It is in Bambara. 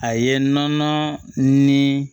A ye nɔnɔ ni